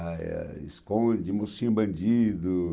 esconde, mocinho bandido.